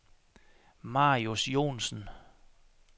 Marius Johnsen